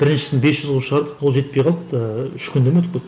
біріншісін бес жүз қылып шығардық ол жетпей қалыпты ыыы үш күнде ме өтіп кетіп